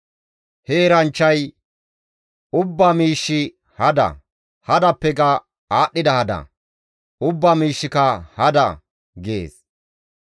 He eranchchay, «Ubbaa miishshi hada; hadappeka aadhdhida hada; ubbaa miishshika hada» gees.